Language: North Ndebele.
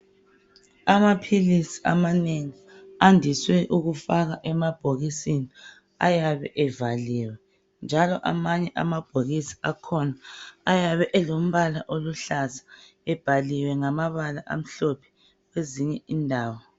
amaphilizi amanengi ayandiswe ukufakwa ebhokisini ayabe evaliwe njalo amabhokisi akhona ayabe elombala oluhlaza ebhaliwe ngamabala amhlophe ezinye indawo